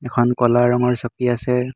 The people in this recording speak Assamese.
এখন ক'লা ৰঙৰ চকী আছে।